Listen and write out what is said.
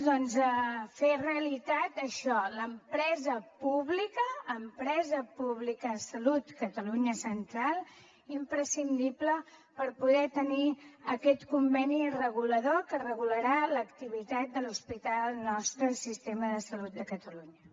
doncs fer realitat això l’empresa pública empresa pública de salut catalunya central imprescindible per poder tenir aquest conveni regulador que regularà l’activitat de l’hospital nostre del sistema de salut de catalunya